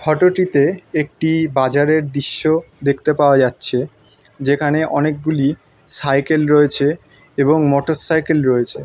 Photo -টিতে একটি বাজার এর দিশ্য দেখতে পাওয়া যাচ্ছে। যেখানে অনেকগুলি সাইকেল রয়েছে এবং মোটরসাইকেল রয়েছে।